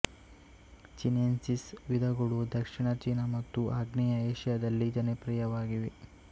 chinensis ವಿಧಗಳು ದಕ್ಷಿಣ China ಮತ್ತು ಆಗ್ನೇಯ ಏಷ್ಯಾದಲ್ಲಿ ಜನಪ್ರಿಯವಾಗಿವೆ